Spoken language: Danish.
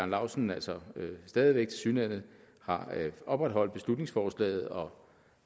laustsen altså stadig væk tilsyneladende har opretholdt beslutningsforslaget og